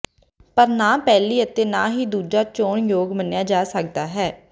ਪਰ ਨਾ ਪਹਿਲੀ ਅਤੇ ਨਾ ਹੀ ਦੂਜਾ ਚੋਣ ਯੋਗ ਮੰਨਿਆ ਜਾ ਸਕਦਾ ਹੈ